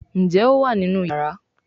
Njé o wá nínú iyàrá?